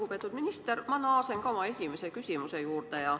Lugupeetud minister, ma naasen ka oma esimese küsimuse juurde.